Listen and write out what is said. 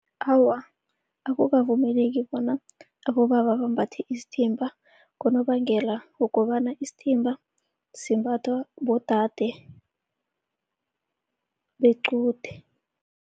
Awa, akukavumeleki bona abobaba bambathe isithimba ngonobangela wokobana isithimba simbathwa bodade bequde.